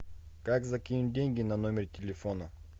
как закинуть деньги на номер телефона